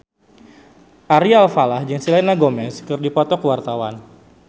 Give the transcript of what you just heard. Ari Alfalah jeung Selena Gomez keur dipoto ku wartawan